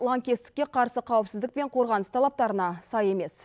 лаңкестікке қарсы қауіпсіздік пен қорғаныс талаптарына сай емес